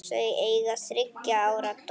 Þau eiga þriggja ára dóttur.